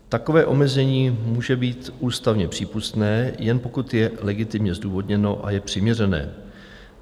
Takové omezení může být ústavně přípustné, jen pokud je legitimně zdůvodněno a je přiměřené.